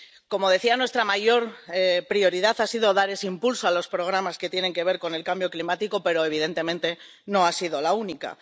Como decía, nuestra mayor prioridad ha sido dar ese impulso a los programas que tienen que ver con el cambio climático, pero, evidentemente, no ha sido la única.